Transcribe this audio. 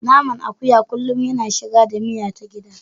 Naman akuya kullum yana shiga da miya ta gida.